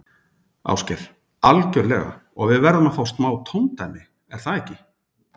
Ásgeir: Algjörlega og við verðum að fá smá tóndæmi, er það ekki?